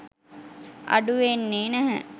අඩු වෙන්නෙ නැහැ